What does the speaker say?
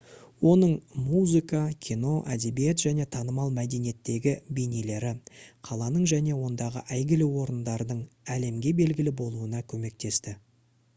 оның музыка кино әдебиет және танымал мәдениеттегі бейнелері қаланың және ондағы әйгілі орындардың әлемге белгілі болуына көмектесті